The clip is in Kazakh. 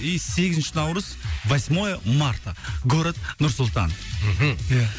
и сегізінші наурыз восьмое марта город нұр сұлтан мхм ия